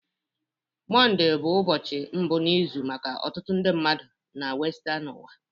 Monde bụ ụbọchị mbụ n'izu maka ọtụtụ ndị mmadụ na Western ụwa